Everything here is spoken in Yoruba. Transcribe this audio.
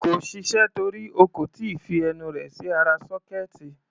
Kò ṣiṣẹ́ torí o kò tí ì fi ẹnu rẹ̀ sí ara sọ́kẹ́ẹ̀tì.